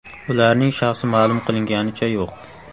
Ularning shaxsi ma’lum qilinganicha yo‘q.